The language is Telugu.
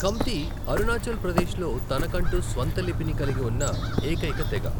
ఖమ్తి అరుణాచల్ ప్రదేశ్లో తనకంటూ స్వంత లిపిని కలిగి ఉన్న ఏకైక తెగ.